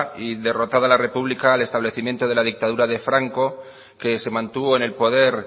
y derrotada la república el establecimiento de la dictadura de franco que se mantuvo en el poder